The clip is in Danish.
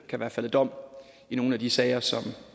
kan være faldet dom i nogle af de sager som